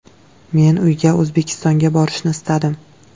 Men uyga – O‘zbekistonga borishni istadim.